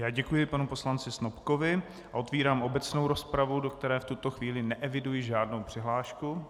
Já děkuji panu poslanci Snopkovi a otevírám obecnou rozpravu, do které v tuto chvíli neeviduji žádnou přihlášku.